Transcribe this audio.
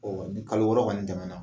Ɔn wa ni kalo wɔɔrɔ kɔni tɛmɛna